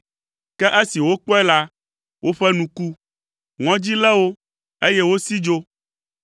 ke esi wokpɔe la, woƒe nu ku, ŋɔdzi lé wo eye wosi dzo.